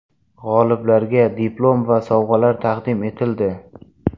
G‘oliblarga diplom va sovg‘alar taqdim etildi.